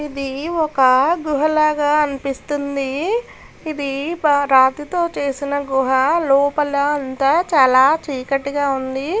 ఇది ఒక గుహలాగా అనిపిస్తోంది ఇది బ రాతితో చేసిన గుహ లోపల అంతా చాలా చీకటిగా ఉంది.